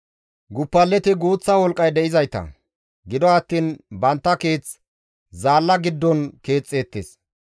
Guppaleti guuththa wolqqay de7izayta; gido attiin bantta keeth zaalla giddon keexxeettes.